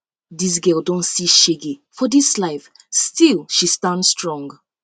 dis girl don see um shege for um life still she stand strong